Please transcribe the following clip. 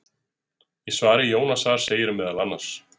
Í svari Jónasar segir meðal annars: